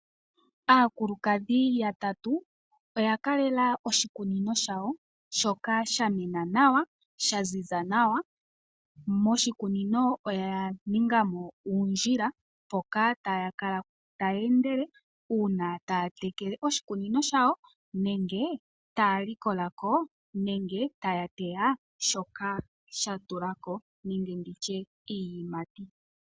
Aakulukadhi ya tatu oya kalela oshikunino shawo shoka sha mena nawa, sha ziza nawa. Moshikunino oya ninga mo uundnila mpoka taya kala taya endele, uuna taya tekele oshikunino shawo nenge taya likolako nenge taya teya shoka sha tulako memge nditye iiyimati.